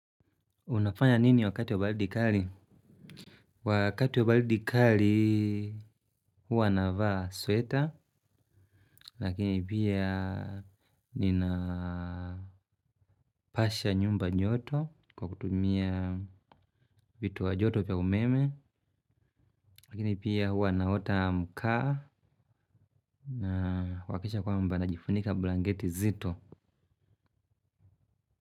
Unafanya nini wakati wa baridi kali? Wakati wa baridi kali huwa navaa sweta lakini pia nina pasha nyumba joto kwa kutumia vitoa joto vya umeme lakini pia huwa naota mkaa na kuhakikisha kwamba najifunika blangeti zito.